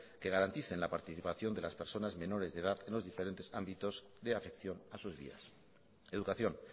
que garanticen la participación de las personas menores de edad en los diferentes ámbitos de afección a sus días educación